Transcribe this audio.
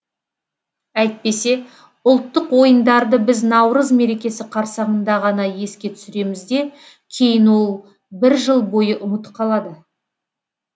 әйтпесе ұлттық ойындарды біз наурыз мерекесі қарсаңында ғана еске түсіреміз де кейін ол бір жыл бойы ұмыт қалады